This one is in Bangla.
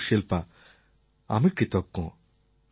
কিন্তু শিল্পা আমি কৃতজ্ঞ